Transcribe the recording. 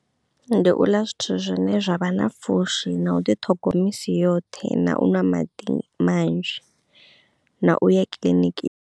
Ndi u ḽa zwithu zwine zwavha na pfhushi na u ḓi ṱhogo misi yoṱhe na u ṅwa maḓi manzhi na u ya kiḽiniki.